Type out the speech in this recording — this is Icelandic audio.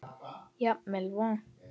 Jafnvel vont.